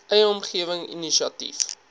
eie omgewing inisiatief